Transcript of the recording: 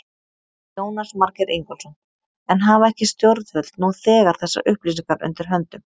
Jónas Margeir Ingólfsson: En hafa ekki stjórnvöld nú þegar þessar upplýsingar undir höndum?